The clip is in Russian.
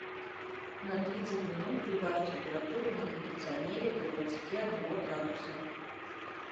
на тридцать минут прибавь температуру на кондиционере до двадцати одного градуса